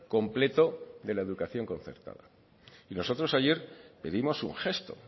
completo de la educación concertada y nosotros ayer pedimos un gesto